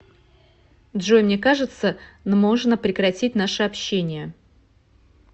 джой мне кажется нможно прекратить наше общение